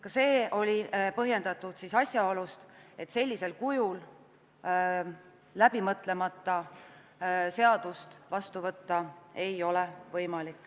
Ka see oli põhjustatud asjaolust, et sellisel moel, läbi mõtlemata ei ole arukas seaduseelnõu vastu võtta.